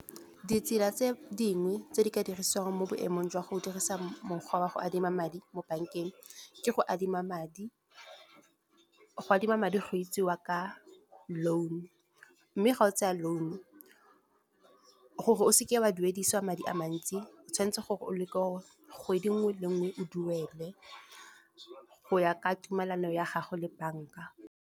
Ditsela tse dingwe tse di ka dirisiwang mo boemong jwa go dirisa mokgwa wa go adima madi, mo bank-eng. Ke go adima madi, go adima madi go bitsiwa ka loan, mme ga o tseya loan gore o seke wa duedisiwa madi a mantsi. O tshwanetse gore o leke kgwedi nngwe le nngwe, o duele go ya ka tumelano ya gago le bank-a.